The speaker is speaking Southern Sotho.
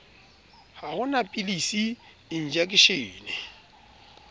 ha ho na pilisi enjekeshene